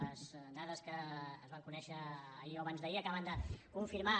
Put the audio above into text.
les dades que es van conèixer ahir o abans d’ahir acaben de confirmar